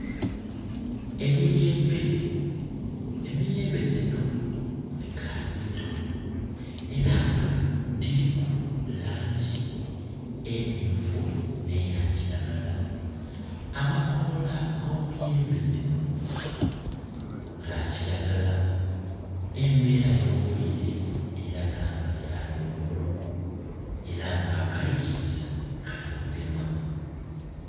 Emiyembe, emiyembe dhino dhikali mito era nga dhiriku langi emyufu ne yakilagala amakoola ge miyembe dhino ga kilagala. Embera yo bwire elaga nga ya lweigulo era nga akalikiza kali kugema.